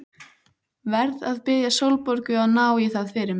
Verð að biðja Sólborgu að ná í það fyrir mig.